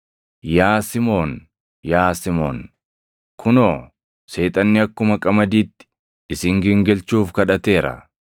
“Yaa Simoon, yaa Simoon; kunoo, Seexanni akkuma qamadiitti isin gingilchuuf kadhateera.